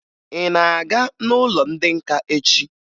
Ị na-aga n'ụlọ ndị nka echi?